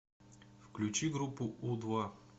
включи группу у два